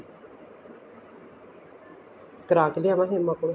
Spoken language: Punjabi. ਕਰਾ ਕੇ ਲਿਆਵਾ ਸੀਮ ਆਪਣੇ